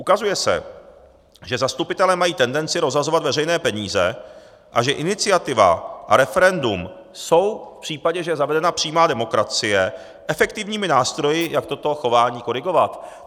Ukazuje se, že zastupitelé mají tendenci rozhazovat veřejné peníze a že iniciativa a referendum jsou v případě, že je zavedena přímá demokracie, efektivními nástroji, jak toto chování korigovat.